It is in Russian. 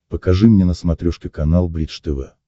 покажи мне на смотрешке канал бридж тв